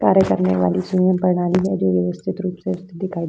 कार्य करने वाली स्वयं प्रणाली है जो व्यवस्थित रूप से दिखाई --